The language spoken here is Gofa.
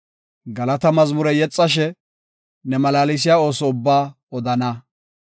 Galata mazmure yexashe ne malaalsiya ooso ubba odana.